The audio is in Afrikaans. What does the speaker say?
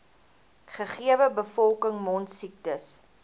gegewe bevolking mondsiektes